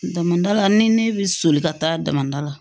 Damanda la ni ne bɛ soli ka taa damada la